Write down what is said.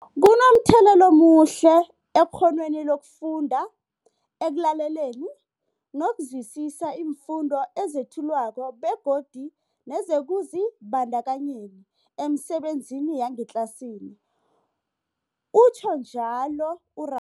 Kunomthelela omuhle ekghonweni lokufunda, ekulaleleni nokuzwisiswa iimfundo ezethulwako begodu nekuzibandakanyeni emisebenzini yangetlasini, utjhwe njalo u-Ra